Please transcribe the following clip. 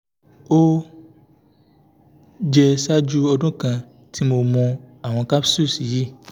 o jẹ ṣaaju ọdun kan ti mo mu awọn capsules yii